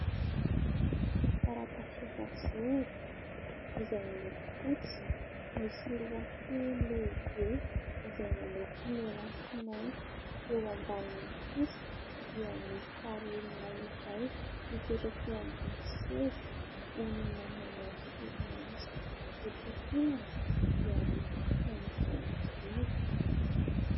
Taratasy efajoro izay miloko fotsy, misy lohateny lehibe izay miloko mena sy mainty eo ambanin'ny kosa dia misy sary olona iray mipetraka eo ambony seza olona manao solomaso etsy ankilany dia misy saina izay mijoro.